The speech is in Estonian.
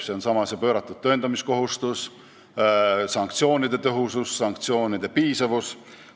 See on see pööratud tõendamiskohustus, sanktsioonide tõhusus, sanktsioonide piisavus.